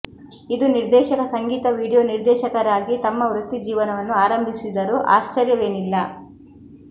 ಇದು ನಿರ್ದೇಶಕ ಸಂಗೀತ ವಿಡಿಯೋ ನಿರ್ದೇಶಕರಾಗಿ ತಮ್ಮ ವೃತ್ತಿಜೀವನವನ್ನು ಆರಂಭಿಸಿದರು ಆಶ್ಚರ್ಯವೇನಿಲ್ಲ